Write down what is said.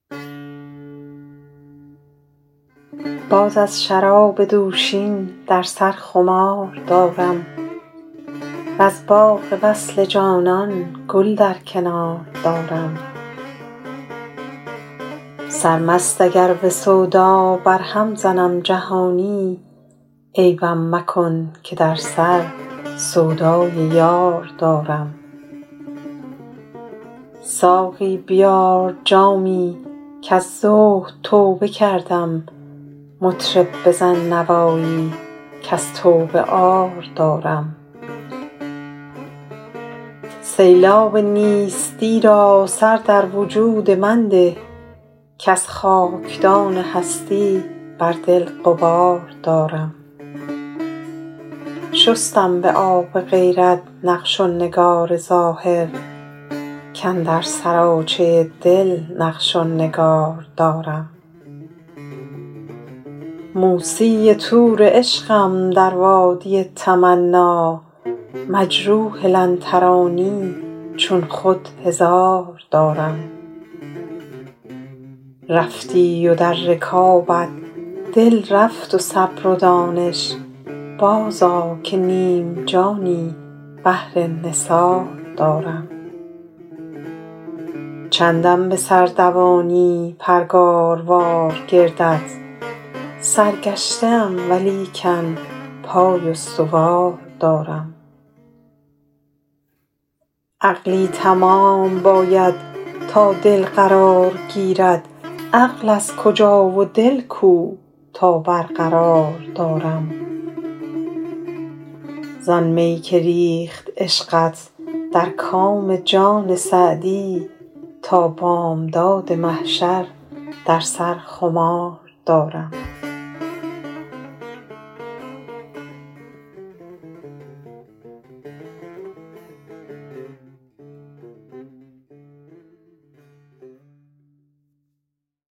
باز از شراب دوشین در سر خمار دارم وز باغ وصل جانان گل در کنار دارم سرمست اگر به سودا برهم زنم جهانی عیبم مکن که در سر سودای یار دارم ساقی بیار جامی کز زهد توبه کردم مطرب بزن نوایی کز توبه عار دارم سیلاب نیستی را سر در وجود من ده کز خاکدان هستی بر دل غبار دارم شستم به آب غیرت نقش و نگار ظاهر کاندر سراچه دل نقش و نگار دارم موسی طور عشقم در وادی تمنا مجروح لن ترانی چون خود هزار دارم رفتی و در رکابت دل رفت و صبر و دانش بازآ که نیم جانی بهر نثار دارم چندم به سر دوانی پرگاروار گردت سرگشته ام ولیکن پای استوار دارم عقلی تمام باید تا دل قرار گیرد عقل از کجا و دل کو تا برقرار دارم زآن می که ریخت عشقت در کام جان سعدی تا بامداد محشر در سر خمار دارم